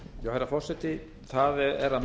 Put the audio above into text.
herra forseti það er að